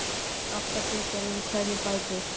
Átta bitar eru í hverju bæti.